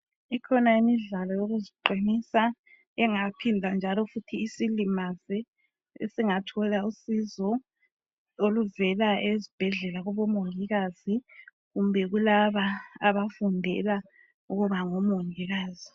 Ikhona imidlalo yokuziqinisa engaphinda njalo isilimaze ,sesingathola usizo oluvela esbhedlela kubomongikazi kumbe kulaba abafundela ukuba ngomongikazi.